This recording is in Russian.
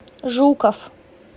жуков